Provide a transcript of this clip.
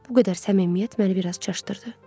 Bu qədər səmimiyyət məni bir az çaşdırdı.